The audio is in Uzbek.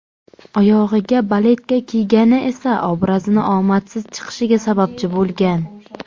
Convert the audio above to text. Oyog‘iga baletka kiygani esa obrazini omadsiz chiqishiga sababchi bo‘lgan.